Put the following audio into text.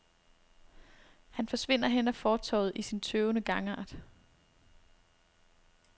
Han forsvinder hen ad fortovet i sin tøvende gangart.